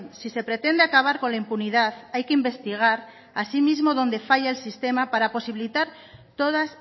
si se pretende acabar con la impunidad hay que investigar asimismo donde falla el sistema para posibilitar todas